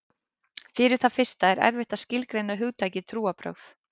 Fyrir það fyrsta er erfitt að skilgreina hugtakið trúarbrögð.